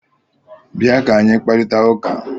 Bịa ka anyị kparịta ụka!